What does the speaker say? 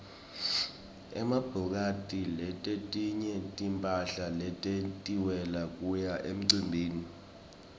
emabhokathi timphahla letentiwele kuya emicimbini